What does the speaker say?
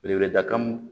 Belebeleda kan